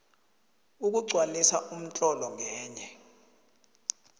ukugcwalisa umtlolo ngenye